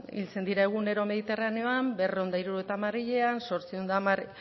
hiltzen dira egunero mediterraneoan berrehun eta hirurogeita hamar hilean zortziehun eta hamar